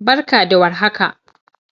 Barka da warhaka